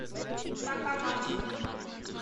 такамацу